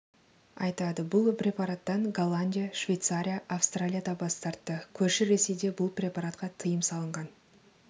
айтады бұл препараттан голландия швейцария австралия да бас тартты көрші ресейде бұл препаратқа тыйым салынған